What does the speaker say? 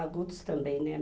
Agudos também, né?